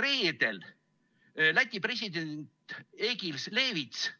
Reedel rääkis Läti president Egils Levits